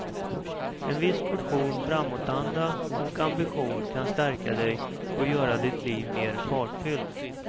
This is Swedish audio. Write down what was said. En viss portion framåtanda och ambition kan stärka dig och göra ditt liv mer fartfyllt.